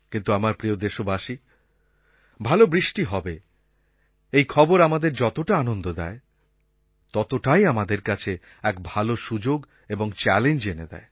কিন্তু আমার প্রিয় দেশবাসী ভালো বৃষ্টি হবে এই খবর আমাদের যতটা আনন্দ দেয় ততটাই আমাদের কাছে এক ভালো সুযোগ এবং চ্যালেঞ্জ এনে দেয়